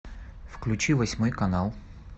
включи восьмой канал